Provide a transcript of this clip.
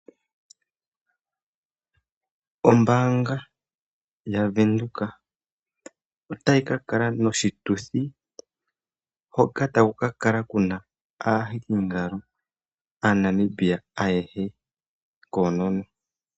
Ombaanga yaWindhoek otayi kakala noshituthi hoka takukakala kuna aahikingalo aaNamibia ayehe konono.